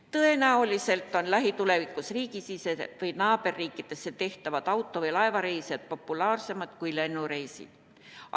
Tõenäoliselt on lähitulevikus riigisisesed või naaberriikidesse tehtavad auto- või laevareisid populaarsemad kui lennureisid.